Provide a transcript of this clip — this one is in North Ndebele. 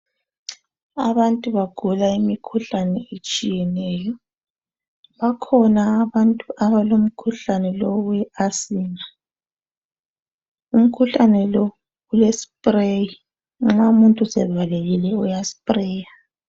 Abantu bagula imikhuhlane etshiyeneyo. Bakhona abantu alomkhuhlane lo owe asima. Umkhuhlane lo ule spreyi, nxa umuntu sevalekile uya spreya.